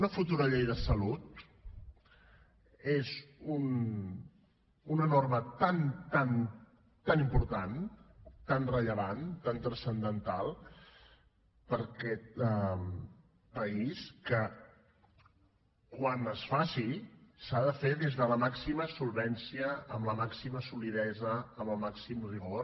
una futura llei de salut és una norma tan tan tan important tan rellevant tan transcendental per a aquest país que quan es faci s’ha de fer des de la màxima solvència amb la màxima solidesa amb el màxim rigor